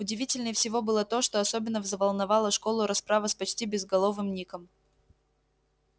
удивительнее всего было то что особенно взволновала школу расправа с почти безголовым ником